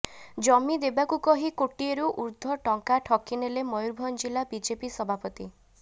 ଜମି ଦେବାକୁ କହି କୋଟିଏରୁ ଉଦ୍ଧ୍ୱର୍ ଟଙ୍କା ଠକିନେଲେ ମୟୁରଭଂଜ ଜିଲ୍ଲା ବିଜେପି ସଭାପତି